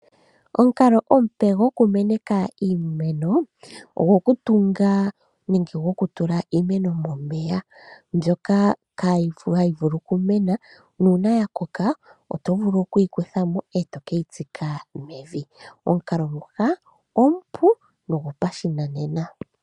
Omukalo omupe goku meneka iimeno, ogo ku tunga nenge goku tula iimeno momeya mbyoka hayi vulu ku mena. Nuuna ya koka oto vulu oku yi kuthamo e to keyi tsika mevi. Omukalo nguka omupu nogo pa shinanena.